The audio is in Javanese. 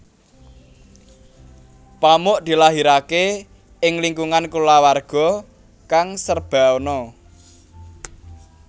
Pamuk dilahirake ing lingkungan kulawarga kang serba ana